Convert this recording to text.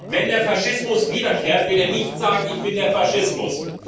Wenn der Faschismus wiederkehrt, wird er nicht sagen ‹Ich bin der Faschismus›.